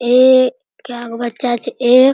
ये केगो बच्चा छै एक --